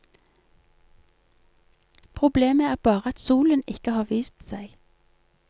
Problemet er bare at solen ikke har vist seg.